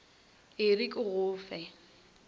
e re ke go fe